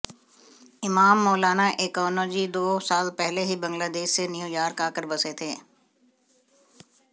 इमाम मौलाना एकोनजी दो साल पहले ही बांग्लादेश से न्यूयॉर्क आकर बसे थे